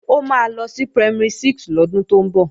Ó máa lọ sí Primary 6 lọ́dún tó ń bọ̀